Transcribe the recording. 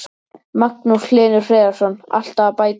Magnús Hlynur Hreiðarsson: Alltaf að bætast við?